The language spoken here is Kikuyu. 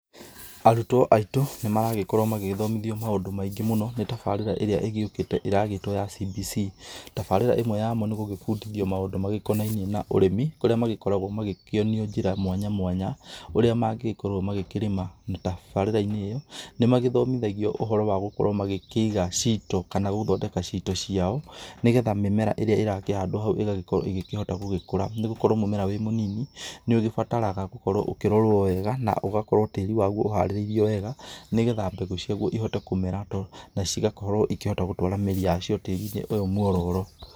Arutwo aitũ, nĩ maragĩkorwo magĩthomithio maũndũ maingĩ mũno, nĩ tabarĩra ĩrĩa ĩgĩũkĩte ĩragĩtwo ya CBC, tabarĩra ĩmwe yamo nĩ gũgĩbundithio maũndũ makonainie na ũrĩmi, kũrĩa magĩkoragwo magĩkĩonio njĩra mwanya mwanya, ũrĩa mangĩgĩkorwo makĩrĩma tabarĩra-inĩ ĩyo, na nĩ magĩthomithagio ũhoro wa gũkorwo makĩiga ciito, kana gũthondeka ciito ciao, nĩgetha mĩmera ĩrĩa ĩrakĩhandwo hau ĩgagĩkorwo ĩgĩkĩhota gũkũra, nĩ gũkorwo mũmera wĩ mũnini nĩ ũgĩbataraga gũkorwo ũkĩrorwo wega, na ũgakorwo tĩri waguo ũharĩrĩirio wega, nĩgetha mbegũ ciaguo ihote kũmera, to na cigakorwo ĩkĩhota gũtwara mĩri yacio tĩri-inĩ ũyũ muororo.